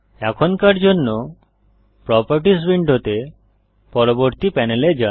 এখনকার জন্য প্রোপার্টিস উইন্ডোতে পরবর্তী প্যানেলে যান